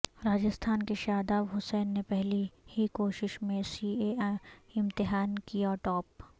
راجستھان کے شاداب حسین نے پہلی ہی کوشش میں سی اے امتحان کیا ٹاپ